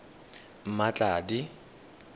mmatladi